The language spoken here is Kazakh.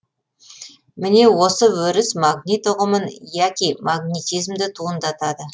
міне осы өріс магнит ұғымын яки магнитизмді туындатады